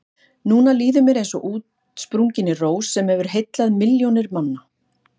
Núna líður mér eins og útsprunginni rós sem hefur heillað milljónir manna.